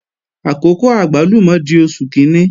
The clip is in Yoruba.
Àkókò àgbálùmọ̀ di Oṣù kíní